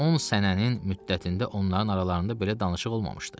On sənənin müddətində onların aralarında belə danışıq olmamışdı.